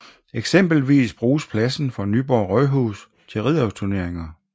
Eksempelvis bruges pladsen for Nyborg Rådhus til ridderturneringer